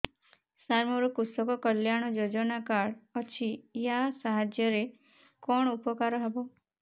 ସାର ମୋର କୃଷକ କଲ୍ୟାଣ ଯୋଜନା କାର୍ଡ ଅଛି ୟା ସାହାଯ୍ୟ ରେ କଣ ଉପକାର ହେବ